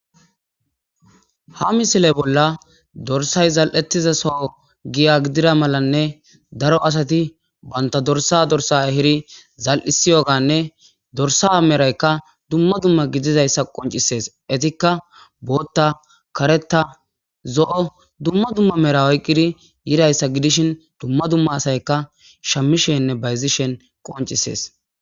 ha misile bolla dorsay zal7ettiza soho giya gidira malanne daro asati banta dorsa dorsa hiri zal7isi yoganne dorsa meraykka dumma dumma gidizayssa qoncisees etikka bootta kareta zo7o dumma dumma mera oyqqidi yirayssa gidishin dumma dumma asayka shamishenne bayzishen qoncisees